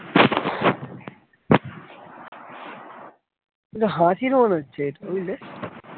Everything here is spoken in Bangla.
হাসির মনে হচ্ছে এটা বুঝলে।